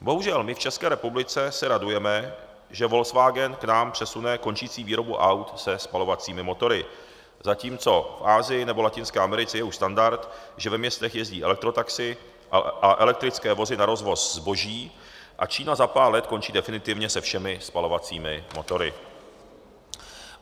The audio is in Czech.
Bohužel my v České republice se radujeme, že Volkswagen k nám přesune končící výrobu aut se spalovacími motory, zatímco v Asii nebo Latinské Americe je už standard, že ve městech jezdí elektrotaxi a elektrické vozy na rozvoz zboží, a Čína za pár let končí definitivně se všemi spalovacími motory.